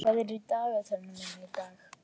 Henrik, hvað er í dagatalinu mínu í dag?